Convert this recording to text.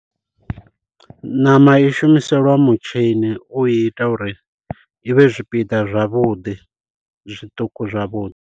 Ṋama i shumiselwa mutshini u i ita uri i vhe zwipiḓa zwavhuḓi zwiṱuku zwavhuḓi.